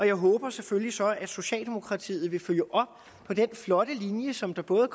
jeg håber selvfølgelig så at socialdemokratiet vil følge op på den flotte linje som der både